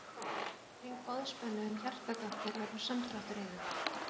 Fyrir hvern hring boðspennu um hjartagáttir verður samdráttur í þeim.